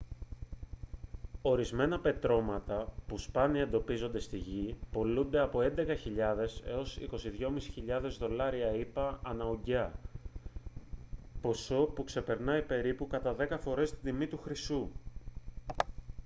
ορισμένα πετρώματα που σπάνια εντοπίζονται στη γη πωλούνται από 11.000 έως 22.500 δολάρια ηπα ανά ουγγιά ποσό που ξεπερνάει περίπου κατά δέκα φορές την τιμή του χρυσού